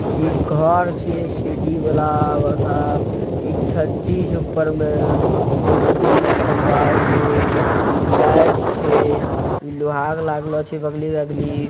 ई घर छे सीढ़ि वाला बड़का। इ छाज्जी ऊपर में फेन बिजली खंबा छे ई लाइट छे ई लोहार लागले छे बगली वगली --